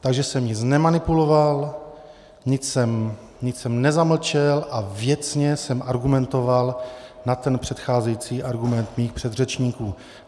Takže jsem nic nemanipuloval, nic jsem nezamlčel a věcně jsem argumentoval na ten předcházející argument mých předřečníků.